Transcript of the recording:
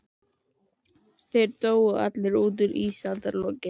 Þeir dóu allir út í ísaldarlokin.